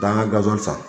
Danga gaziw san